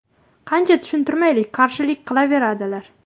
Qancha tushuntirmaylik, qarshilik qilaveradilar.